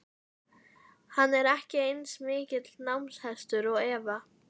Hann er ekki eins mikill námshestur og Eva.